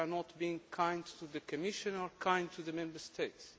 we are not being kind to the Commission or kind to the Member States.